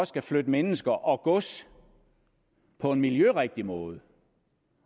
skal flytte mennesker og gods på en miljørigtig måde